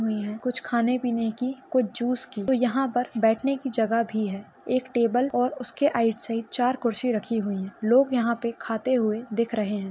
हुई है कुछ खाने पिने की कुछ जुस की तो यहाँ पर बैठने ने की जगह भी है एक टेबल और उसके आइट साइड चार कूर्सी रखी हुई है लोग यहाँ पे खाते हुए दिख रहे है।